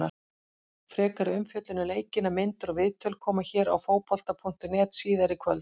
Frekari umfjöllun um leikina, myndir og viðtöl, koma hér á Fótbolta.net síðar í kvöld.